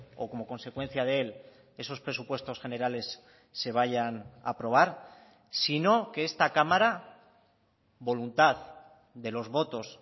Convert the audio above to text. o como consecuencia de él esos presupuestos generales se vayan a aprobar sino que esta cámara voluntad de los votos